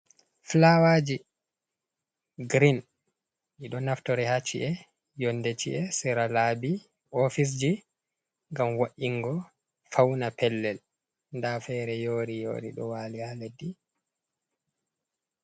Fulawaji girin ɗiɗo naftori ha ci'e, yonde chi'e, sera labi, ofisji ngam wo'ingo fauna pellel. Nda fere yori-yori ɗo wali haa leddi.